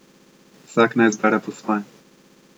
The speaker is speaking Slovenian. Vsak naj izbere po svoje.